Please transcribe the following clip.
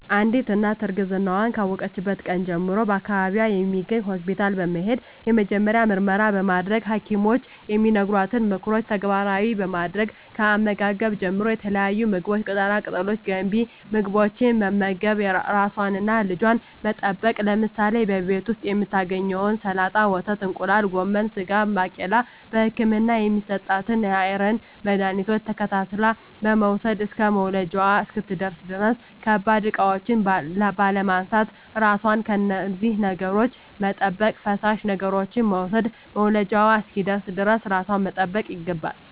አንዲት እናት እርግዝናዋን ካወቀችበት ቀን ጀምሮ በአካባቢዋ በሚገኝ ሆስፒታል በመሄድ የመጀመሪያ ምርመራ በማድረግ በሀኪሞች የሚነገሯትን ምክሮች ተግባራዊ በማድረግ ከአመጋገብ ጀምሮ የተለያዩ ምግቦች ቅጠላ ቅጠሎች ገንቢ ምግቦች በመመገብ ራሷንና ልጇን በመጠበቅ ለምሳሌ በቤት ዉስጥ የምታገኛቸዉን ሰላጣ ወተት እንቁላል ጎመን ስጋ ባቄላ በህክምና የሚሰጣትን የአይረን መድሀኒቶች ተከታትላ በመዉሰድ እስከ መዉለጃዋ እስክትደርስ ድረስ ከባድ እቃዎች ባለማንሳት ራሷን ከነዚህ ነገሮች በመጠበቅ ፈሳሽ ነገሮችን በመዉሰድ መዉለጃዋ እስኪደርስ ድረስ ራሷን መጠበቅ ይገባል